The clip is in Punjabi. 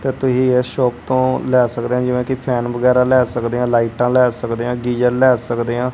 ਤੇ ਤੁਹੀ ਇਸ ਸ਼ੋਪ ਤੋਂ ਲੈ ਸਕਦੇ ਆ ਜਿਵੇਂ ਕਿ ਫੈਨ ਵਗੈਰਾ ਲੈ ਸਕਦੇ ਆ ਲਾਈਟਾਂ ਲੈ ਸਕਦੇ ਆ ਗੀਜ਼ਰ ਲੈ ਸਕਦੇ ਆਂ।